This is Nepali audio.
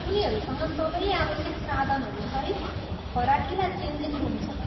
उनीहरूसँग सबै आवश्यक साधनहरू सहित फराकिला चेन्जिङ रुम छन्।